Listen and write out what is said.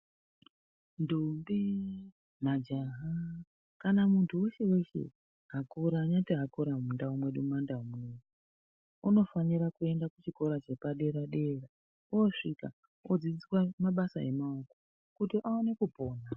Ndombi, majaha kana muntu weshe-weshe akura anenge akura mundau mwedu mumandau munomu unofanira kuenda kuchikora chepadera-dera oosvika odzidziiswa mabasa emaoko kuti aone kupona.